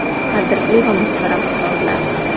Qadrli va muhtaram ustozlar!